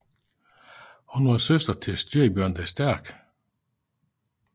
Hun var søster til Styrbjørn den Stærke